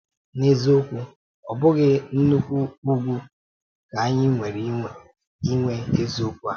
N’eziokwu, ọ̀ bụghị nnukwu ùgwù ka anyị nwere inwe eziokwu a?